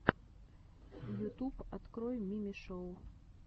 ютуб открой мими шоу